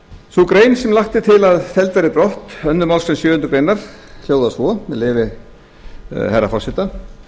sú grein sem lagt er til að felld verði brott annarri málsgrein sjöundu grein hljóðar svo með leyfi herra forseta